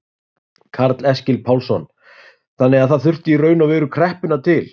Karl Eskil Pálsson: Þannig að það þurfti í raun og veru kreppuna til?